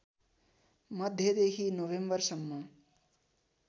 मध्यदेखि नोभेम्बरसम्म